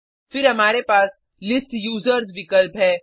फिर हमारे पास लिस्ट यूजर्स विकल्प है